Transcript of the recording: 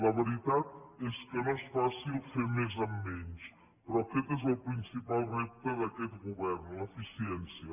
la veritat és que no és fàcil fer més amb menys però aquest és el principal repte d’aquest govern l’eficiència